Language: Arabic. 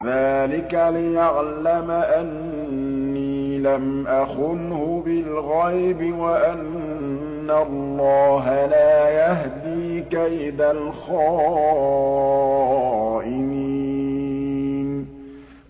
ذَٰلِكَ لِيَعْلَمَ أَنِّي لَمْ أَخُنْهُ بِالْغَيْبِ وَأَنَّ اللَّهَ لَا يَهْدِي كَيْدَ الْخَائِنِينَ